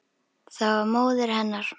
Það var móðir hennar.